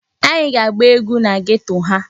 Anyị ga-agba egwu na geto ha.